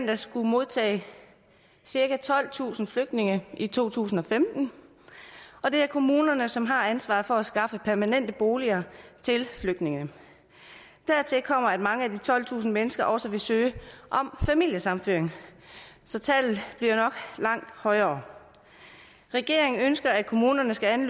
at skulle modtage cirka tolvtusind flygtninge i to tusind og femten og det er kommunerne som har ansvaret for at skaffe permanente boliger til flygtninge dertil kommer at mange af de tolvtusind mennesker også vil søge om familiesammenføring så tallet bliver nok langt højere regeringen ønsker at kommunerne skal